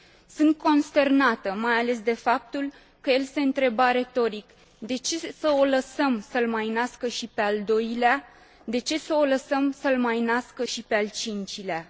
Sunt consternată mai ales de faptul că el se întreba retoric de ce să o lăsăm să l mai nască și pe al doilea, de ce să o lăsăm să l mai nască și pe al cincilea?.